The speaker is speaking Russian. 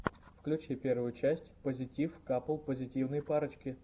включи первую часть позитив капл позитивной парочки